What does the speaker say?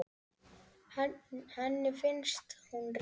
Henni finnst hún rétt.